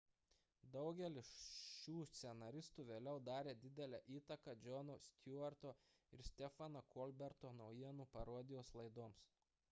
daugelis šių scenaristų vėliau darė didelę įtaką jono stewarto ir stepheno colberto naujienų parodijos laidoms